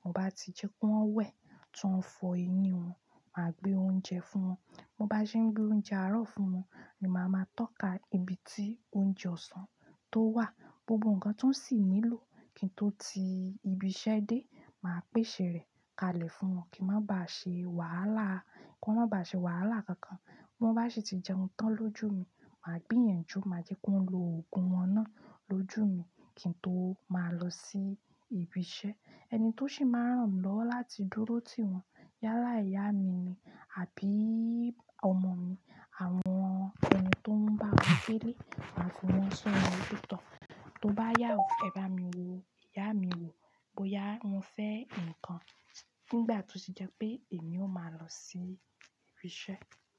Mo bá ti jẹ́ kí wọ́n wẹ̀, tí wọ́n fọ eyín wọn, mà á gbé oúnjẹ fún wọn. Mo bá ṣe ń gbé oúnjẹ àárọ̀ fún wọn, ni màá ma tọ́ka ibi tí oúnjẹ ọ̀sán tó wà, gbogbo nǹkan tó sì nílò kí n tó ti ibi iṣẹ́ dé, mà á pèsè rẹ̀ kalẹ̀ fún wọn kí wọ́n má ba ṣe wàhálà, kí wọ́n má ba ṣe wàhálà kankan. Wọ́n bá sì ti jẹun tán lójú mi, mà á gbìyànjú, mà á jẹ́ kí wọn lo ogun wọn náà lójú mi kí n tó máa lọ sí ibi iṣẹ́. Ẹni tó sì máa rán mi lọ láti dúró ti wọn, yálà ìyá mi ni àbí ọmọ mi. Àwọn ẹni tó ń bá mi gbele, màá fi wọn sọ́ nà olóòótọ́. Tó bá yàwú, "Ẹ bá mi wo, ìyá mi wo", bóyá wọn fẹ́ ǹkan nígbà tó sì jẹ́ pé èmi ó máa lọ sí ibi iṣẹ́.